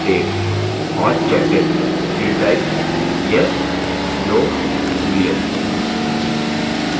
और checked in field type yes/no boolean